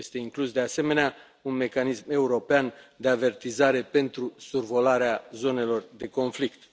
Este inclus, de asemenea, un mecanism european de avertizare pentru survolarea zonelor de conflict.